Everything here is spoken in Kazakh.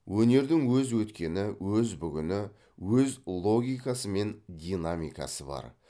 өнердің өз өткені өз бүгіні өз логикасы мен динамикасы бар